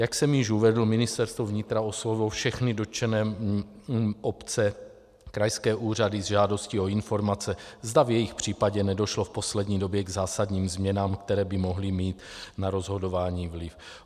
Jak jsem již uvedl, Ministerstvo vnitra oslovilo všechny dotčené obce, krajské úřady, s žádostí o informace, zda v jejich případě nedošlo v poslední době k zásadním změnám, které by mohly mít na rozhodování vliv.